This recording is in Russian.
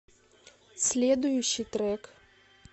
следующий трек